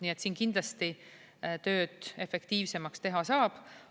Nii et siin kindlasti tööd efektiivsemaks teha saab.